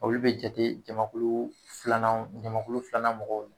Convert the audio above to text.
Olu bɛ jate jamakulu filanan jamakulu filanan mɔgɔw